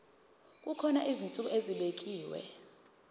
kukhona izinsuku ezibekiwe